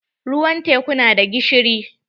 Ruwan teku na da gishiri.